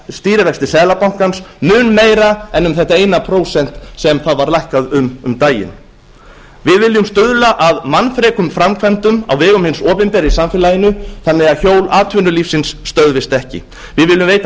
stýrivexti seðlabankans mun meira en um þetta eina prósent sem það var lækkað um um daginn við viljum stuðla að mannfrekum framkvæmdum á vegum hins opinbera í samfélaginu þannig að hjól atvinnulífsins stöðvist ekki við viljum veita